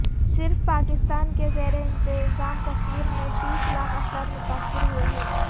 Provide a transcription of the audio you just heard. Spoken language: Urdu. صرف پاکستان کے زیر انتظام کشمیر میں تیس لاکھ افراد متاثر ہوئے ہیں